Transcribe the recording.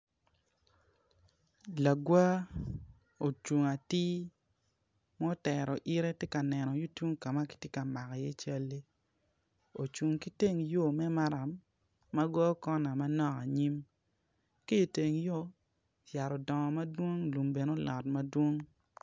Lagwar ocung atir ma otero yite tye ka neno yung tung kama kitye ka mako i ye calli ocung ki teng yo me maram ma goyo kona ma yo anyim ki teng yo yat odongo madwong lum bene odongo madwon